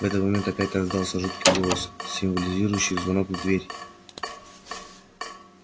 в этот момент опять раздался жуткий голос символизирующий звонок в дверь